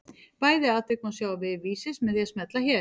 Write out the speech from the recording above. Bæði atvik má sjá á vef Vísis með því að smella hér.